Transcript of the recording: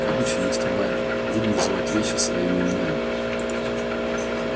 короче мистер байерли будем называть вещи своими именами